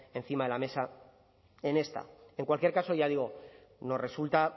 encima de la mesa en esta en cualquier caso ya digo nos resulta